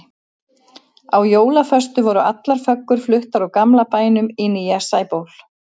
Á jólaföstu voru allar föggur fluttar úr gamla bænum í nýja Sæból.